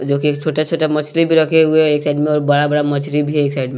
जो कि छोटा-छोटा मछली भी रखे हुए हैं एक साइड में और बड़ा-बड़ा मछली भी है एक साइड में।